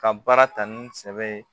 Ka baara ta ni sɛbɛ ye